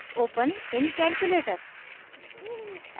open in calculator